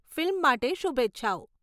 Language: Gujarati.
ફિલ્મ માટે શુભેચ્છાઓ.